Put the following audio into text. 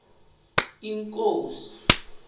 inkosi